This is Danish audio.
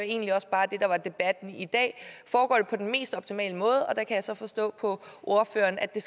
egentlig også bare det der var debatten i dag foregår det på den mest optimale måde der kan jeg så forstå på ordføreren at det